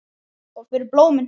Og fyrir blómin.